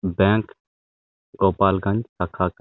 bank Gopalganj का खाता--